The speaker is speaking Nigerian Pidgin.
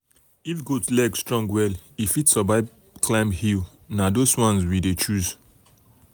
if goat leg strong well e fit survive climb hill na those ones we dey choose.